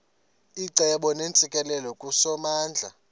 icebo neentsikelelo kusomandla